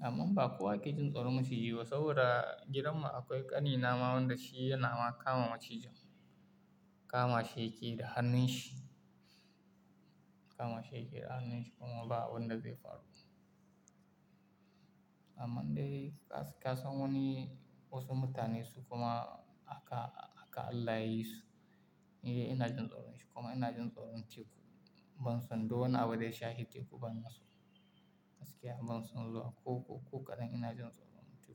Amman ba kowa ke jin tsoron maciji ba saboda gidanmu akwai ƙani na ma wanda shi yana ma kama maciji. Kama shi yake da hannun shi. Kama shi yake da hannun shi kuma ba abun da zai faru. Amman dai ka san wani wasu mutane su kuma aka, aka Allah ya yi su, ni dai ina jin tsoron shi kuma ina jin tsoron teku. Ban son duk wani abun da shahi teku bana so. Gaskiya ban son zuwa ko, ko, ko kaɗan ina jin tsoron teku.